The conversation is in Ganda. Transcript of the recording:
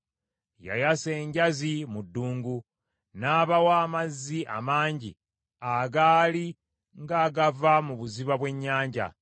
Yayasa enjazi mu ddungu, n’abawa amazzi amangi agaali ng’agava mu buziba bw’ennyanja.